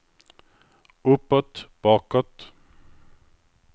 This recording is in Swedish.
uppåt bakåt